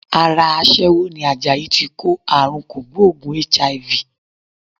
Ara aṣẹ́wó ni Àjàyí tí kó àrunkògbóògùn HIV.